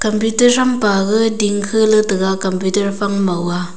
compiter thampa ga dingkha letaiga compiter fang maw a.